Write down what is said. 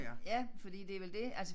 Ja fordi det vel det altså